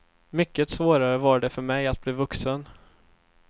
Mycket svårare var det för mig att bli vuxen.